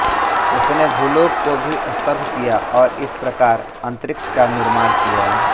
उसने द्युलोक को भी स्तब्ध किया और इस प्रकार अन्तरिक्ष का निर्माण किया